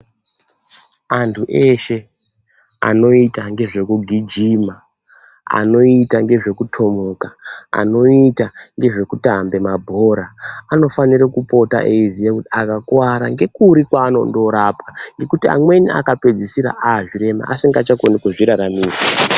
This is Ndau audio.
Antu eshe anoita nezvekugwijima anoita nezve kutomuka anoita nezvekutambe mabhora anofana kupota eiziva kuti akakuwara ngekuri kwanondorapwa ngekuti amweni akapedzisira azvirema asingachakoni kuzviraramira.